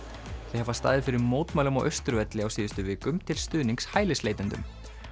þau hafa staðið fyrir mótmælum á Austurvelli á síðustu vikum til stuðnings hælisleitendum